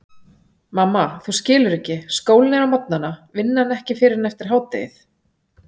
Mamma þú skilur ekki, skólinn er á morgnana, vinnan ekki fyrr en eftir hádegið.